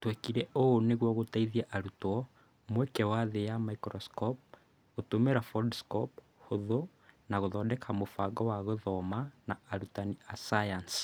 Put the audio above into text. tũekire ũũ nĩguo gũteithia arutwo mweke wathĩĩ ya maikroskopu gũtũmĩra foldskopu hũthũ na gũthondeka mũbango wa gũthoma na arutani a sayansi